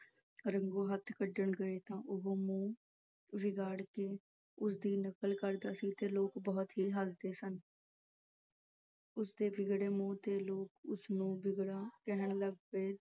ਰੰਗੂ ਹੱਥ ਕੱਢਣ ਗਏ ਤਾਂ ਉਹੋ ਮੂੰਹ ਵਿਗਾੜ ਕੇ ਉਸਦੀ ਨਕਲ ਕਰਦਾ ਸੀ ਤਾਂ ਲੋਕ ਬਹੁਤ ਹੀ ਹੱਸਦੇ ਸਨ ਉਸਦੇ ਵਿਗੜਨ ਮੂੰਹ ਤੇ ਲੋਕ ਉਸਨੂੰ ਵਿਗੜਮ ਕਹਿਣ ਲੱਗ ਪਏ